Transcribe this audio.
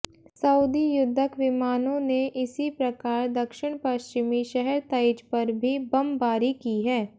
Saudi युद्धक विमानों ने इसी प्रकार दक्षिण पश्चिमी शहर तइज़ पर भी बमबारी की है